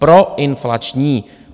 Proinflační.